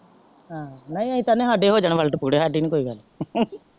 ਹਮ ਨਹੀਂ ਅਸੀ ਤੇ ਆਹਣੇ ਆ ਸਾਡੇ ਹੋ ਜਾਂ word ਪੂਰੇ ਹਾੜੀ ਨੀ ਕੋਇ ਗੱਲ